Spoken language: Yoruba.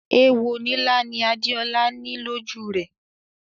Èwo nílá ni Adéolá ní lọ́jú rẹ̀.